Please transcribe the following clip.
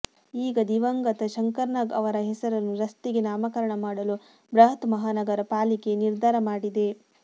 ಈಗ ದಿವಂಗಂತ ಶಂಕರ್ ನಾಗ್ ಅವರ ಹೆಸರನ್ನು ರಸ್ತೆಗೆ ನಾಮಕರಣ ಮಾಡಲು ಬೃಹತ್ ಮಹಾನಗರ ಪಾಲಿಕೆ ನಿರ್ಧಾರ ಮಾಡಿದೆ